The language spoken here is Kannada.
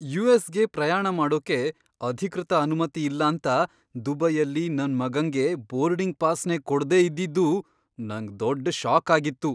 ಯು.ಎಸ್.ಗೆ ಪ್ರಯಾಣ ಮಾಡೋಕೆ ಅಧಿಕೃತ ಅನುಮತಿ ಇಲ್ಲಾಂತ ದುಬೈಯಲ್ಲಿ ನನ್ ಮಗಂಗೆ ಬೋರ್ಡಿಂಗ್ ಪಾಸ್ನೇ ಕೊಡ್ದೇ ಇದ್ದಿದ್ದು ನಂಗ್ ದೊಡ್ಡ್ ಷಾಕ್ ಆಗಿತ್ತು.